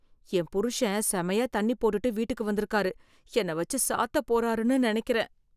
என் புருஷன் செமையா தண்ணி போட்டுட்டு வீட்டுக்கு வந்திருக்காரு. என்ன வச்சு சாத்தப் போறாருன்னு நினைக்கிறேன்.